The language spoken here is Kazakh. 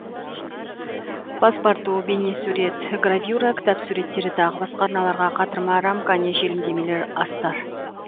паспарту бейнесурет гравюра кітап суреттері тағы басқа арналған қатырма рамка не желімдемелер астар